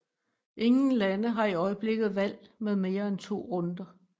Ingen lande har i øjeblikket valg med mere end to runder